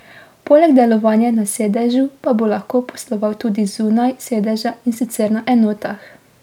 Poleg delovanja na sedežu pa bo lahko posloval tudi zunaj sedeža, in sicer na enotah.